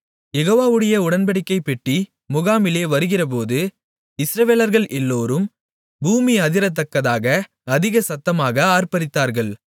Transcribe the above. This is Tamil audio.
யெகோவாவுடைய உடன்படிக்கைப்பெட்டி முகாமிலே வருகிறபோது இஸ்ரவேலர்கள் எல்லோரும் பூமி அதிரத்தக்கதாக அதிக சத்தமாக ஆர்ப்பரித்தார்கள்